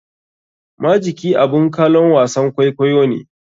Majiki abun kalon wasan kwaikwayo ne.